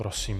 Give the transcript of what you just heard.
Prosím.